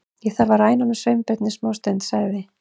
Ég þarf að ræna honum Sveinbirni smástund- sagði